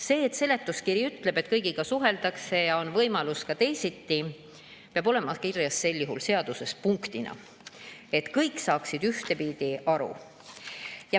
See, et seletuskiri ütleb, et kõigiga suheldakse ja on võimalus ka teisiti, peab olema kirjas sel juhul seaduse punktina, et kõik saaksid ühtepidi aru.